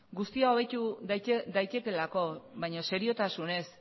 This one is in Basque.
guztia hobetu daitekeelako baina seriotasunez